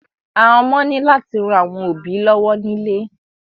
Àwọn ọmọ ni láti ràn àwọn òbí lọwọ nílé.